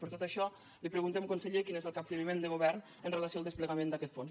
per tot això li preguntem conseller quin és el capteniment del govern en relació amb el desplegament d’aquest fons